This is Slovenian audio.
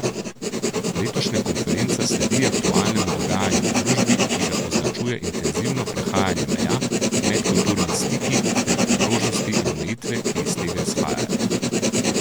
Letošnja konferenca sledi aktualnemu dogajanju v družbi, ki ga označuje intenzivno prehajanje meja, medkulturni stiki ter priložnosti in omejitve, ki iz tega izhajajo.